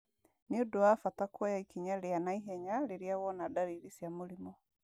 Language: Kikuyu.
Nĩ ũndũ wa bata kuoya ikinya rĩa na ihenya rĩrĩa wona ndariri cia mũrimũ.